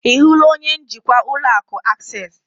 Ị hụla onye njikwa ụlọ akụ Akses?